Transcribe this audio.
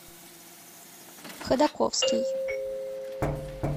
ходаковский